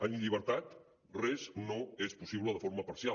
en llibertat res no és possible de forma parcial